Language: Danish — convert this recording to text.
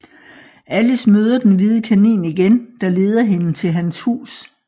Alice møder den hvide kanin igen der leder hende til hans hus